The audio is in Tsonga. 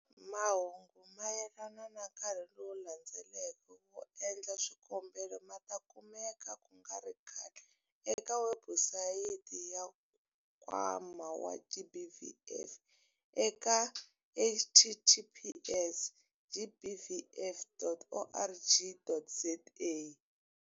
Mahungu mayelana na nkarhi lowu landzelaka wo endla swikombelo ma ta kumeka ku nga ri khale eka webusayiti ya Nkwama wa GBVF eka- https- gbvf.org.za.